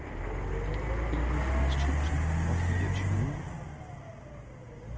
enogfirs tusind og fireogtyve